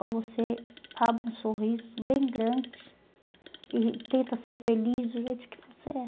Ou você abre um sorriso bem grande e tenta ser feliz do jeito que você é.